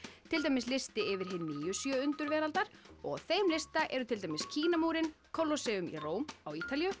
til dæmis listi yfir hin nýju sjö undur veraldar á þeim lista eru til dæmis Kínamúrinn Colosseum í Róm á Ítalíu